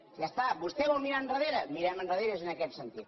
ja està vostè vol mirar enrere mirem enrere en aquest sentit